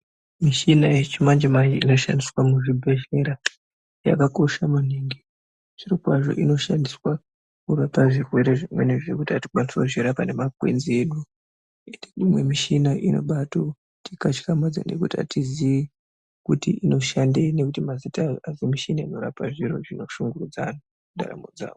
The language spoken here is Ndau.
Mishina yechimanje manje inoshandiswa muzvibhedhlera yakakosha maningi zvirokwazvo Inoshandisa kurapa zvirwere zvimweni zvekuti atikwanisi kuzvirapa ngemakwenzi edu imwe mishina inobaatotikatyamadza nekuti atizii Kuti inoshandei nekuti mazitayo adzo mishini inorap zviro zvinoshungurudza antu mundaramo dzawo.